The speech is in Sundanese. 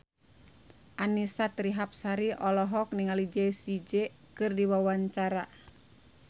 Annisa Trihapsari olohok ningali Jessie J keur diwawancara